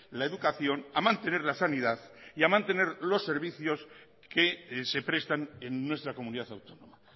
la educación a mantener la sanidad y a mantener los servicios que se prestan en nuestra comunidad autónoma